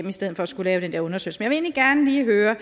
i stedet for at skulle lave den der undersøgelse gerne lige høre er